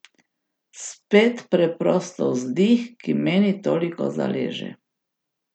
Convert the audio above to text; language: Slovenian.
Spet preprosto vzdih, ki meni toliko zaleže.